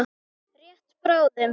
Rétt bráðum.